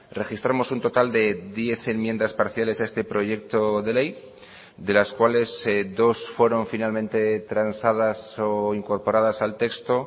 registramos un total de diez enmiendas parciales a este proyecto de ley de las cuales dos fueron finalmente transadas o incorporadas al texto